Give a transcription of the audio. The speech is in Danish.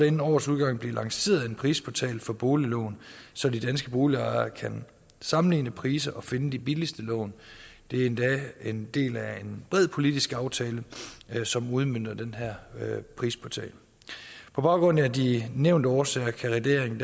inden årets udgang blive lanceret en prisportal for boliglån så de danske boligejere kan sammenligne priser og finde de billigste lån det er endda en del af en bred politisk aftale som udmønter den her prisportal på baggrund af de nævnte årsager kan regeringen